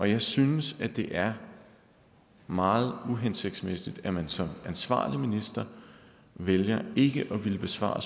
jeg synes det er meget uhensigtsmæssigt at man som ansvarlig minister vælger ikke at ville besvare